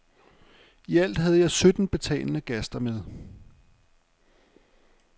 I alt havde jeg sytten betalende gaster med.